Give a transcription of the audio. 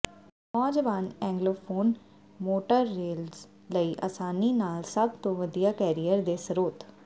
ਨੌਜਵਾਨ ਏਂਗਲੋਫੋਨ ਮੋਟਰਰੇਲਰਸ ਲਈ ਆਸਾਨੀ ਨਾਲ ਸਭ ਤੋਂ ਵਧੀਆ ਕੈਰੀਅਰ ਦੇ ਸਰੋਤ